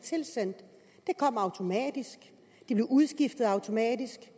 tilsendt det kom automatisk det blev udskiftet automatisk